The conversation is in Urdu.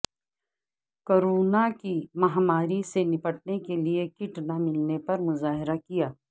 کورونا کی مہا ماری سے نپٹنے کیلئے کیٹ نہ ملنے پر مظاہرہ کیا